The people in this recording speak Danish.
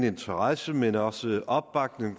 interesse men også opbakning